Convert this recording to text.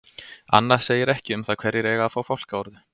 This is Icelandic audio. Annað segir ekki um það hverjir eiga að fá fálkaorðu.